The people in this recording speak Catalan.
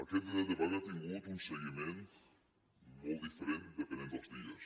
aquest dret de vaga ha tingut un seguiment molt diferent depenent dels dies